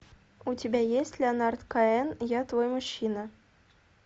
у тебя есть леонард коэн я твой мужчина